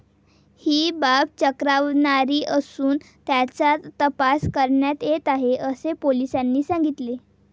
ही बाब चक्रावणारी असून, त्याचा तपास करण्यात येत आहे, असे पोलिसांनी सांगितले.